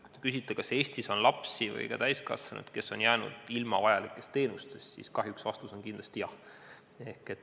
Kui te küsite, kas Eestis on lapsi või ka täiskasvanuid, kes on jäänud ilma vajalikest teenustest, siis kahjuks on vastus kindlasti jah.